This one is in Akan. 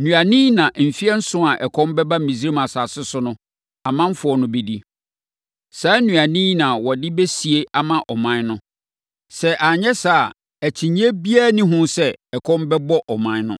Nnuane yi na mfeɛ nson a ɛkɔm bɛba Misraim asase so no, ɔmanfoɔ no bɛdi. Saa nnuane yi na wɔde bɛsie ama ɔman no. Sɛ anyɛ saa a, akyinnyeɛ biara nni ho sɛ, ɛkɔm bɛbɔ ɔman no.”